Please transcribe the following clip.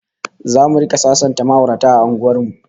ZAmu rika sasanta ma'aurata a unguwar mu